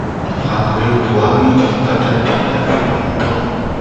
ààrẹ buhari ti padà dé láti london